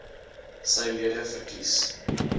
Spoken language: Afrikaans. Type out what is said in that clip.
sy lede verkies